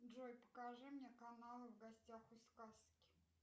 джой покажи мне канал в гостях у сказки